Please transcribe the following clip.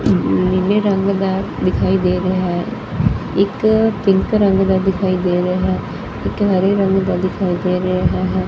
ਨੀਲੇ ਰੰਗ ਦਾ ਦਿਖਾਈ ਦੇ ਰਿਹਾ ਹੈ ਇੱਕ ਪਿੰਕ ਰੰਗ ਦਾ ਦਿਖਾਈ ਦੇ ਰਿਹਾ ਹੈ ਇੱਕ ਹਰੇ ਰੰਗ ਦਾ ਦਿਖਾਈ ਦੇ ਰਿਹਾ ਹੈਗਾ।